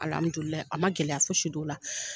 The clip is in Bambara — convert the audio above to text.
Alamidulilayi a ma gɛlɛya fosi d'o la.